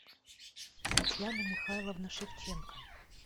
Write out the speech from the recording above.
татьяна михайловна шевченко